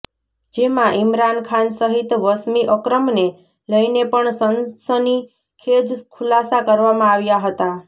જેમાં ઇમરાન ખાન સહીત વસીમ અક્રમને લઈને પણ સનસનીખેજ ખુલાસા કરવામાં આવ્યા હતા